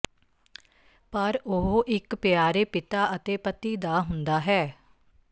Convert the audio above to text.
ਪਰ ਉਹ ਇਕ ਪਿਆਰੇ ਪਿਤਾ ਅਤੇ ਪਤੀ ਦਾ ਹੁੰਦਾ ਹੈ